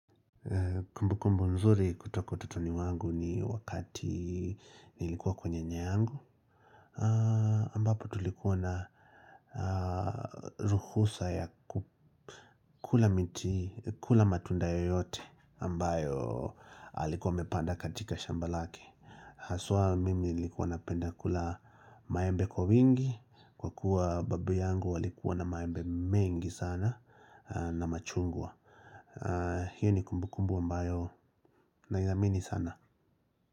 Kumbu kumbu mzuri kutoka utotoni wangu ni wakati nilikuwa kwa nyanyangu ambapo tulikuwa na ruhusa ya kula miti, kula matunda yoyote ambayo alikuwa amepanda katika shamba lake haswa mimi nilikuwa napenda kula maembe kwa wingi kwa kuwa babu yangu alikuwa na maembe mengi sana na machungwa hiyo ni kumbu kumbu ambayo naiamini sana.